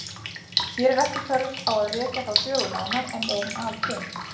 Hér er ekki þörf á að rekja þá sögu nánar enda er hún alkunn.